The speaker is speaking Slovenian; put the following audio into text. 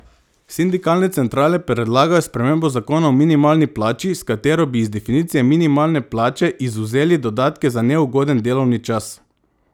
Sindikalne centrale predlagajo spremembo zakona o minimalni plači, s katero bi iz definicije minimalne plače izvzeli dodatke za neugoden delovni čas.